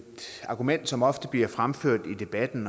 argument som ofte bliver fremført i debatten